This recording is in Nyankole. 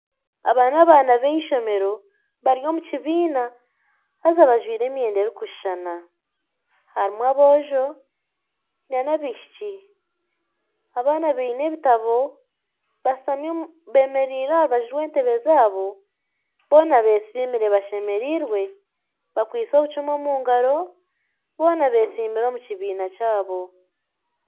Aba n'abaana b'eishomero bari omu kibiina haza bajwire emyenda erikushushana harimu aboojo n'abaishiki, abaana baine ebitabo beemereire aha rubaju rw'entebe zaabo, boona beesimire bashemereirwe bakwitse obucumu omu ngaaro boona beesimiire omu kibiina kyabo